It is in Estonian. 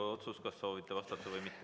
Teie otsus, kas soovite vastata või mitte.